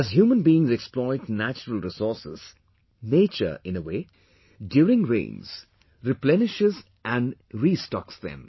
As human beings exploit natural resources, nature in a way, during rains, replenishes and restocks them